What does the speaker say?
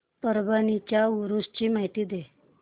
परभणी च्या उरूस ची माहिती दे